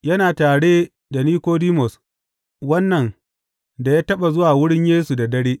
Yana tare da Nikodimus, wannan da ya taɓa zuwa wurin Yesu da dare.